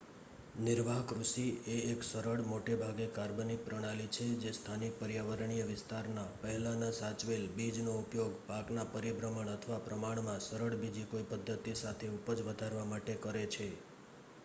નિર્વાહ કૃષિ એ એક સરળ મોટેભાગે કાર્બનિક પ્રણાલી છે જે સ્થાનિક પર્યાવરણીય વિસ્તારના પહેલાના સાચવેલ બીજનો ઉપયોગ પાકના પરિભ્રમણ અથવા પ્રમાણમાં સરળ બીજી કોઈ પધ્ધતિ સાથે ઉપજ વધારવા માટે કરે છે